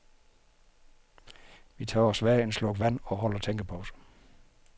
Vi tager os hver en slurk vand og holder tænkepause.